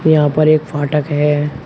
यहां पर एक फाटक है।